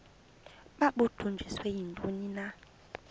babudunjiswe yintoni na